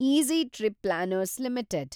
easy Trip Planners limited